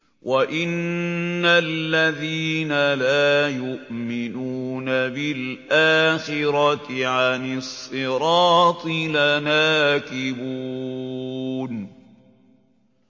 وَإِنَّ الَّذِينَ لَا يُؤْمِنُونَ بِالْآخِرَةِ عَنِ الصِّرَاطِ لَنَاكِبُونَ